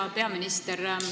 Hea peaminister!